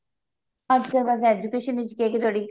ਅੱਜਕਲ ਵੇਸੇ education ਵਿੱਚ ਕੇ ਤੁਹਾਡੀ